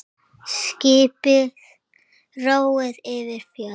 Skipi róið yfir fjörð.